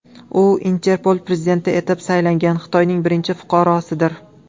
U Interpol prezidenti etib saylangan Xitoyning birinchi fuqarosidir.